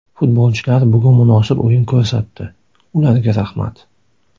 Futbolchilar bugun munosib o‘yin ko‘rsatdi, ularga rahmat.